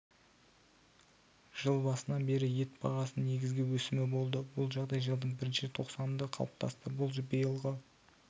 жыл басынан бері ет бағасының негізгі өсімі болды бұл жағдай жылдың бірінші тоқсанында қалыптасты бұл биылғы